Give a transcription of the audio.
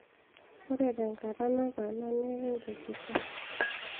ore tenkata nataana naa ekikesisho